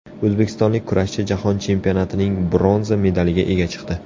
O‘zbekistonlik kurashchi Jahon chempionatining bronza medaliga ega chiqdi.